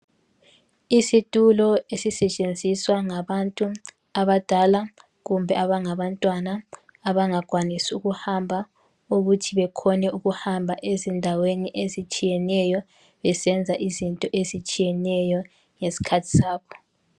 Isitulo esisetshenziswa ngabantu abadala kumbe abangaba ntwana abangakwanisi ukuhamba ukuthi bekhone ukuhamba endaweni ezitshiyeneyo besenza izinto ezitshiyeneyo ngeskhathi sabo